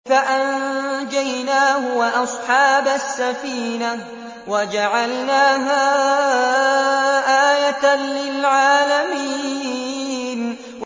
فَأَنجَيْنَاهُ وَأَصْحَابَ السَّفِينَةِ وَجَعَلْنَاهَا آيَةً لِّلْعَالَمِينَ